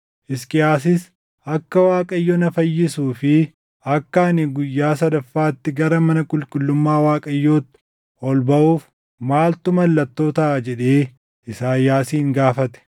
Hisqiyaasis, “Akka Waaqayyo na fayyisuu fi akka ani guyyaa sadaffaatti gara mana qulqullummaa Waaqayyootti ol baʼuuf maaltu mallattoo taʼa?” jedhee Isaayyaasin gaafate.